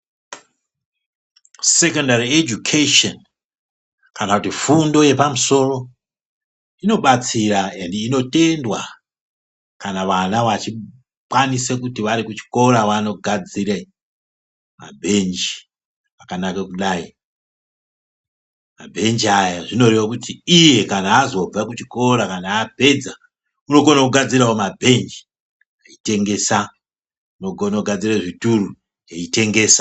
Sekondari ejukesheni kana kuti fundo yepamusoro, inobatsira endi inotendwa kana vana vachikwanise kuti vari kuchikora vanogadzire mabhenji akanake kudai. Mabhenji aya zvinoreve kuti iye kana azobve kuchikora kana apedza unokone kugadzirawo mabhenji eyitengesa, unogono kugadzire zvituru ayitengesa.